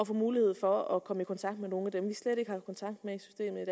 få mulighed for at komme i kontakt med nogle